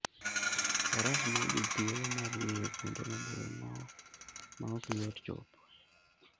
Faras miyo ji thuolo mar ng'iyo kuonde maboyo ma ok yot chopoe.